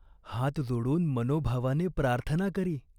हात जोडून मनोभावाने प्रार्थना करी.